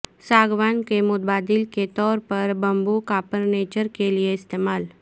ساگوان کے متبادل کے طور پر بیمبو کافرنیچر کیلئے استعمال